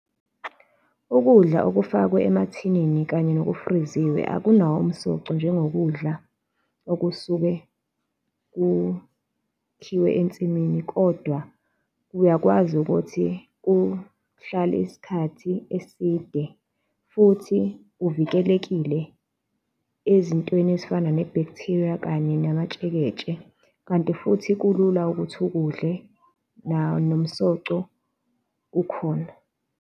Ukudla okufakwe emathinini kanye nokufriziwe akunawo umsoco njengokudla okusuke kukhiwe ensimini kodwa uyakwazi ukuthi kuhlale isikhathi eside futhi kuvikelekile ezintweni ezifana ne-bacteria kanye namatsheketshe, kanti futhi kulula ukuthi ukudle, nawo nomsoco ukhona.